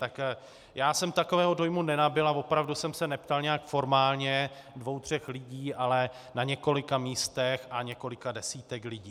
Tak já jsem takového dojmu nenabyl a opravdu jsem se neptal nějak formálně, dvou tří lidí, ale na několika místech a několika desítek lidí.